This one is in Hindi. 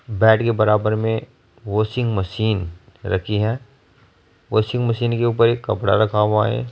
बेड के बराबर में वाशिंग मशीन रखी है वाशिंग मशीन के ऊपर एक कपड़ा रखा हुआ है।